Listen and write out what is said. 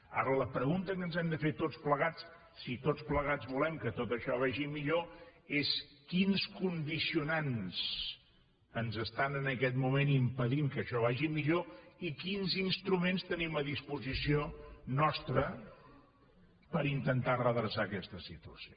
ara la pregunta que ens hem de fer tots plegats si tots plegats volem que tot això vagi millor és quins condicionants ens estan en aquest moment impedint que això vagi millor i quins instruments tenim a disposició nostra per intentar redreçar aquesta situació